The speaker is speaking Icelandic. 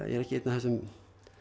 er ekki einn af þessum